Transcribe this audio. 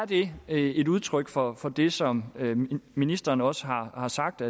det er et udtryk for det som ministeren også har har sagt